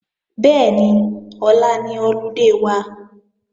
Bẹ́ẹ̀ni, ọ̀la ni ọludé wa